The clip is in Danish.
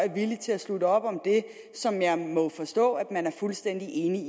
er villig til at slutte op om det som jeg må forstå at man er fuldstændig enig